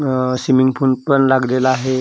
अ swimming pool पण लागलेला आहे .अ